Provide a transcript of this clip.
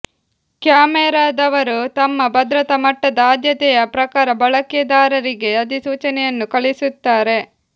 ಕ್ಯಾಮೆರಾದವರು ತಮ್ಮ ಭದ್ರತಾ ಮಟ್ಟದ ಆದ್ಯತೆಯ ಪ್ರಕಾರ ಬಳಕೆದಾರರಿಗೆ ಅಧಿಸೂಚನೆಯನ್ನು ಕಳುಹಿಸುತ್ತಾರೆ